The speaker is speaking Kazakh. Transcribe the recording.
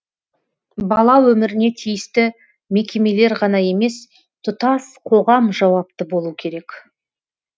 бала өміріне тиісті мекемелер ғана емес тұтас қоғам жауапты болу керек